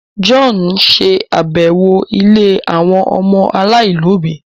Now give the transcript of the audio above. John n ṣe àbẹwò ílé àwọn ọmọ alailòbí